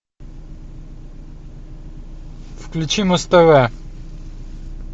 включи муз тв